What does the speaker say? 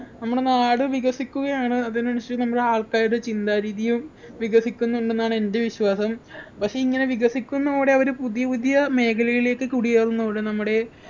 നമ്മുടെ നാട് വികസിക്കുകയാണ് അതിനനുസരിച്ച് നമ്മളാൾക്കാരുടെ ചിന്താ രീതിയും വികസിക്കുന്നുണ്ടെന്നാണ് എൻ്റെ വിശ്വാസം പക്ഷെ ഇങ്ങനെ വികസിക്കുന്നതോടെ അവര് പുതിയപുതിയ മേഖലയിലേക്ക് കുടിയേറുന്നതോടെ നമ്മടെ